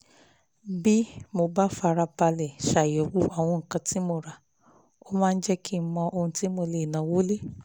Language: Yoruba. bí mo bá ń fara balẹ̀ ṣàyẹ̀wò àwọn nǹkan tí mo ti rà ó máa ń jẹ́ kí n mọ ohun tí mo lè náwó lé